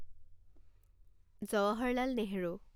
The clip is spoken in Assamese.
জৱাহৰলাল নেহৰু